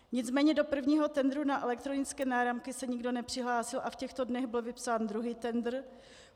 Nicméně do prvního tendru na elektronické náramky se nikdo nepřihlásil a v těchto dnech byl vypsán druhý tendr.